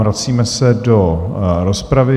Vracíme se do rozpravy.